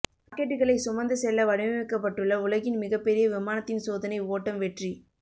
ராக்கெட்டுகளை சுமந்து செல்ல வடிவமைக்கப்பட்டுள்ள உலகின் மிகப்பெரிய விமானத்தின் சோதனை ஓட்டம் வெற்றி